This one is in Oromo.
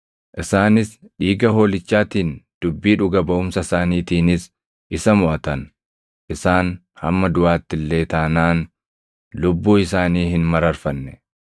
Isaanis dhiiga Hoolichaatiin, dubbii dhuga baʼumsa isaaniitiinis, isa moʼatan; isaan hamma duʼaatti illee taanaan lubbuu isaanii hin mararfanne.